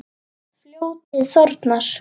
Fljótið þornar.